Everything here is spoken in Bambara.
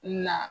Na